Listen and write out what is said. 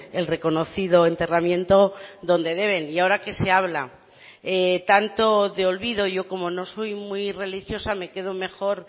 el reconocido enterramiento donde deben y ahora que se habla tanto de olvido yo como no soy muy religiosa me quedo mejor